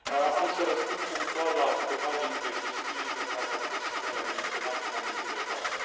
Am să răspund punctual la câteva din chestiunile care au fost menționate în momentul de față.